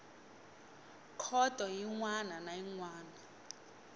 khoto yin wana na yin